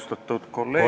Austatud kolleegid ...